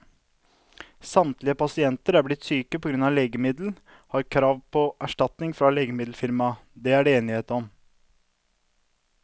Samtlige pasienter som er blitt syke på grunn av legemiddelet, har krav på erstatning fra legemiddelfirmaet, det er det enighet om.